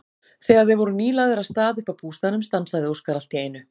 Þegar þeir voru nýlagðir af stað upp að bústaðnum stansaði Óskar allt í einu.